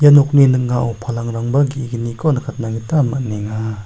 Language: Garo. ia nokni ning·ao palangrangba ge·gniko nikatna gita man·enga.